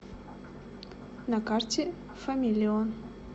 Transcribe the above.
на карте фамилион